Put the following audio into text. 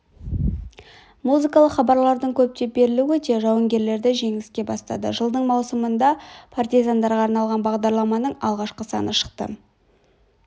музыкалық хабарлардың көптеп берілуі де жауынгерлерді жеңіске бастады жылдың маусымында партизандарға арналған бағдарламаның алғашқы саны шықты